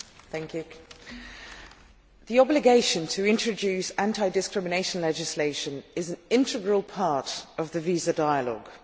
Mr President, the obligation to introduce anti discrimination legislation is an integral part of the visa dialogue.